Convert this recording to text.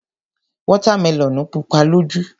Wọ́tá melọ̀nù pupa lójú.